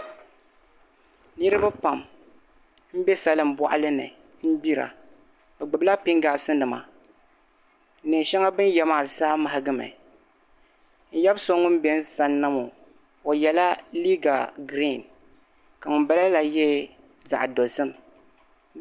Niriba pam m bɛ salin bɔɣili ni n gbira bɛ gbubila pingasinima neen shɛŋa beni yɛ maa zaa mahigimi n yab'so wun bɛ n sanna ŋɔ o yala liiga grin ka wun bala la yɛ zaɣ'dozim